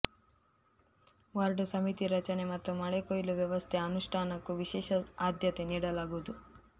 ward ಸಮಿತಿ ರಚನೆ ಮತ್ತು ಮಳೆಕೊಯ್ಲು ವ್ಯವಸ್ಥೆ ಅನುಷ್ಟಾನಕ್ಕೂ ವಿಶೇಷ ಆದ್ಯತೆ ನೀಡಲಾಗುವುದು